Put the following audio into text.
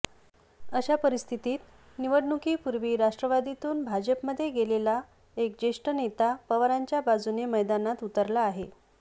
अशा परिस्थितीत निवडणुकीपूर्वी राष्ट्रवादीतून भाजपमध्ये गेलेला एक ज्येष्ठ नेता पवारांच्या बाजूने मैदानात उतरला आहे